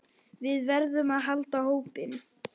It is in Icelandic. Við verðum að halda hópinn!